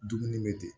Dumuni bɛ ten